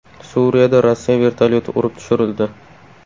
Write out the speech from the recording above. Suriyada Rossiya vertolyoti urib tushirildi .